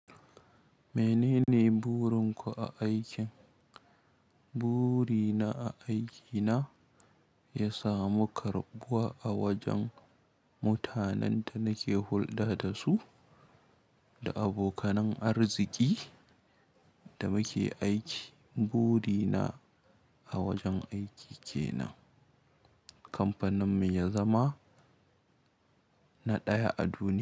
Menene burinku a aikin? Burina a aikina ya samu karɓuwa a wajen mutanen da nake hulɗa da su da abokanan arziki da muke aiki. Burina a wajen aiki kenan kamfanin mu ya zama na ɗaya a duniya.